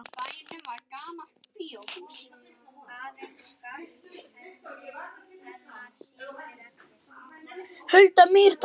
Hulda Mýrdal.